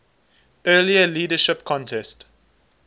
earlier leadership contest